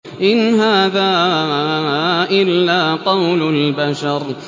إِنْ هَٰذَا إِلَّا قَوْلُ الْبَشَرِ